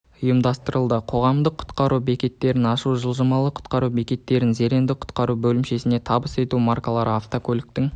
ұйымдастырылды қоғамдық құтқару бекеттерін ашу жылжымалы құтқару бекетін зеренді құтқару бөлімшесіне табыс ету маркалы атвокөліктің